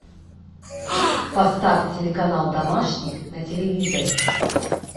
поставь телеканал домашний на телевизоре